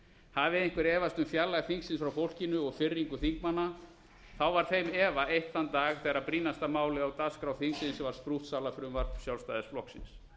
hafi einhver efast um fjarlægð þingsins frá fólkinu og firringu þingmanna þá var þeim efa eytt þann dag þegar brýnasta málið á dagskrá þingsins var sprúttsalafrumvarp sjálfstæðisflokksins